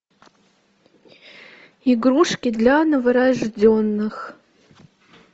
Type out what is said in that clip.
игрушки для новорожденных